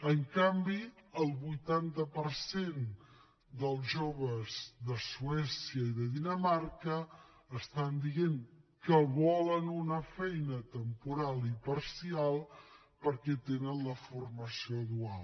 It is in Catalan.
en canvi el vuitanta dels joves de suècia i de dinamarca estan dient que volen una feina temporal i parcial perquè tenen la formació dual